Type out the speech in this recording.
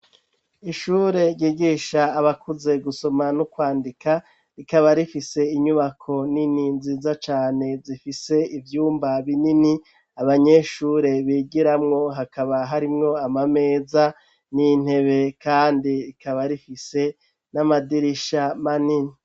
Ishure, ryigisha abakuze, gusoma n'ukwandika, rikaba rifise inyubako nini, nziza cane, zifise ivyumba binini, abanyeshure bigiramwo; hakaba harimwo amameza, n'intebe, kandi rikaba rifise, n'amadirisha manini.